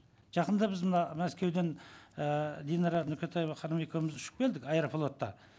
жақында біз мына мәскеуден ііі динара нүкетаева құрбым екеуіміз ұшып келдік аэрофлотта